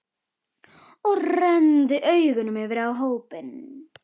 Og renndi augunum yfir á hópinn.